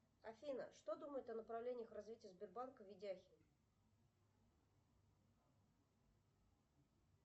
афина что думает о направлениях развития сбербанка ведяхин